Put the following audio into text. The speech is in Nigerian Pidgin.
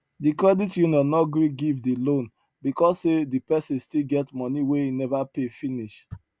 di credit union no gree give di loan because say di person still get money wey e never pay finish